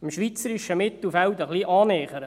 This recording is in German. dem schweizerischen Mittelfeld ein wenig.